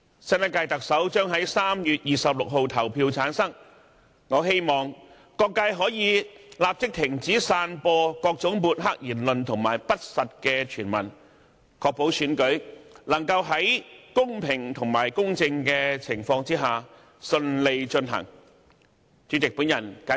新一屆特首將於3月26日投票產生，我希望各界可以立即停止散播各種抹黑言論和不實傳聞，確保選舉能夠在公平和公正的情況下順利進行。